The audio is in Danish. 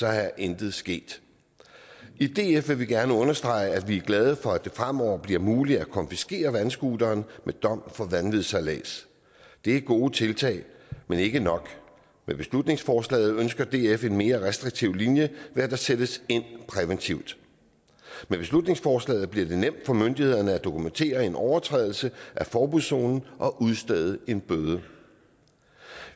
er intet sket i df vil vi gerne understrege at vi er glade for at det fremover bliver muligt at konfiskere vandscooteren ved dom for vanvidssejlads det er gode tiltag men ikke nok med beslutningsforslaget ønsker df en mere restriktiv linje ved at der sættes ind præventivt med beslutningsforslaget bliver det nemt for myndighederne at dokumentere en overtrædelse af forbudszonen og udstede en bøde